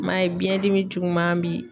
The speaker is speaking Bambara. I m'a ye biyɛn dimi juguman bi